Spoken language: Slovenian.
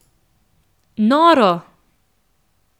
Noro!